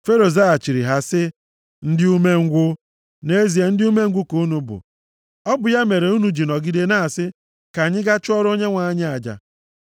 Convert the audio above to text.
Fero zaghachiri ha sị, “Ndị umengwụ! Nʼezie ndị umengwụ ka unu bụ. Ọ bụ ya mere unu ji nọgide na-asị, ‘Ka anyị gaa chụọrọ Onyenwe anyị aja.’